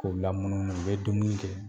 K'u lamunumunu u bɛ dumuni kɛ